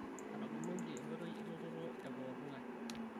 Etaboloki enkoitoi e lototo e pooki ng'ae